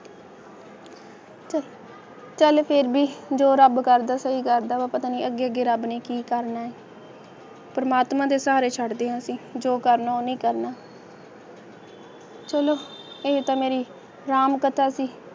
ਚੱਲ ਫੇਰ ਵੀ ਜੋ ਰੱਬ ਕਰਦਾ ਸੀ ਘਰ ਦਾ ਪਤਾ ਨਾ ਲੱਗੇ ਕਿ ਰੱਬ ਨੇ ਕੀ ਕਾਰਨ ਹਨ ਪਰਮਾਤਮਾ ਦੇ ਸਹਾਰੇ ਛੱਡ ਰਿਹਾ ਸੀ ਦੋ ਕਾਰਨ ਹਨ ਪਹਿਲਾ ਚਲੋ ਇਹ ਤਾਂ ਮੇਰੀ ਰਾਮ ਕਥਾ ਸੀ